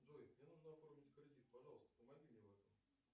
джой мне нужно оформить кредит пожалуйста помоги мне в этом